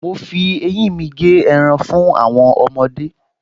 Mo fi eyín mi gé ẹran fún àwọn ọmọdé